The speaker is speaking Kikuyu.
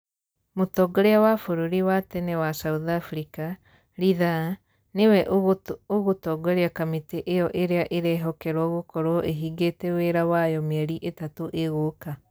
Mũtongoria wa bururi wa tene wa South Africa, Ridhaa, nĩ we ũgũtũgoria kamĩtĩ ĩyo ĩrĩa ĩrehokerwo gukorwo ĩhingĩtie wĩra wayo mĩeri ĩtatũ ĩgũka.